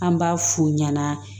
An b'a f'u ɲana